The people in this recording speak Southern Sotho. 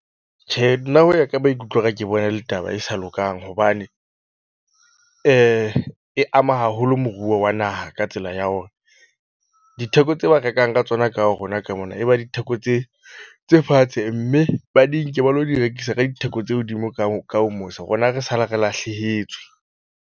Tjhe, nna ho ya ka maikutlo, a ka ke bona e le taba e sa lokang hobane e ama haholo moruo wa naha ka tsela ya hore ditheko ho tseo ba rekang ka tsona ka ho rona ka mona. E ba ditheko tse tse fatshe mme ba di nke ba lo di rekisa ka ditheko tse hodimo ka ka ho mose. Rona re sale re lahlehetswe.